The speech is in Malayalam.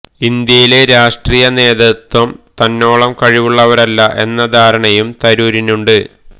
ഇന്ത്യയിലെ രാഷ്ട്രീയ നേതൃത്വം തന്നോളം കഴിവുള്ളവരല്ല എന്ന ധാരണയും തരൂരിനുണ്ട്